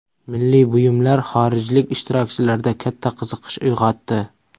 Milliy buyumlar xorijlik ishtirokchilarda katta qiziqish uyg‘otdi.